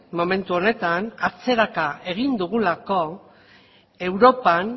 momentu honetan atzeraka egin dugulako europan